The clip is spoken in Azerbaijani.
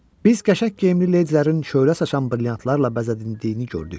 Biz qəşəng geyimli ledilərin şöhrə saçan brilyantlarla bəzədildiyini gördük.